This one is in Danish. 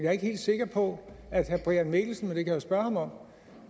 er ikke helt sikker på at herre brian mikkelsen det kan spørge ham om